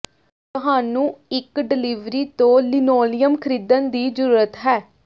ਤੁਹਾਨੂੰ ਇੱਕ ਡਿਲਿਵਰੀ ਤੋਂ ਲਿਨੋਲੀਅਮ ਖਰੀਦਣ ਦੀ ਜ਼ਰੂਰਤ ਹੈ